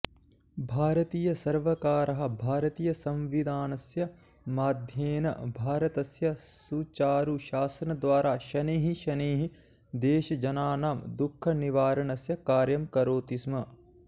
भारतीयसर्वकारः भारतीयसंविधानस्य माध्येन भारतस्य सुचारुशासनद्वारा शनैः शनैः देशजनानां दुःखनिवारणस्य कार्यं करोति स्म